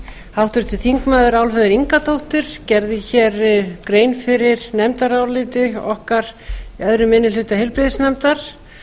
háttvirtir þingmenn álfheiður ingadóttir gerði hér grein fyrir nefndaráliti okkar annar minni hluta hluta heilbrigðisnefndar